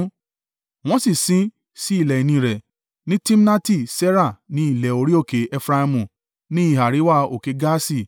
Wọ́n sì sin ín sí ilẹ̀ ìní rẹ̀, ní Timnati Serah ni ilẹ̀ orí òkè Efraimu, ní ìhà àríwá òkè Gaaṣi.